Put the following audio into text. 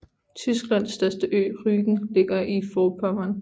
Tysklands største ø Rügen ligger i Forpommern